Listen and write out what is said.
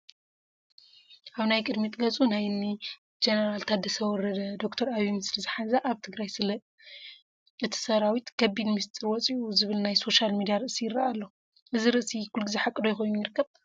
ኣብ ናይ ቅድሚት ገፁ ናይ እኒ ጀኔራል ወረደን ዶ/ር ዓብዪን ምስሊ ዝሓዘ ኣብ ትግራይ ስለ እቲ ሰራዊት ከቢድ ምስጢር ወፂኡ ዝብል ናይ ሶሻል ሚድያ ርእሲ ይርአ ኣሎ፡፡ እዚ ርእሲ ኩሉ ግዜ ሓቂ ዶ ኮይኑ ይርከብ?